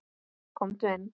Komdu inn!